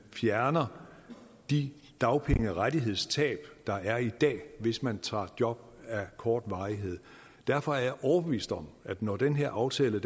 fjerner de dagpengerettighedstab der er i dag hvis man tager job af kort varighed derfor er jeg overbevist om at når den her aftale